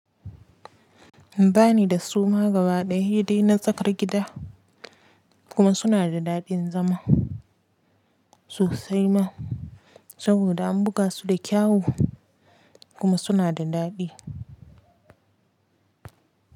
Ba ni da suma gabaɗaya dai na tsakar gida kuma suna da daɗin zama sosai ma saboda an buga su da kyawu kuma suna da daɗi.